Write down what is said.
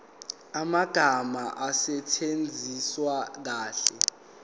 amagama asetshenziswe kahle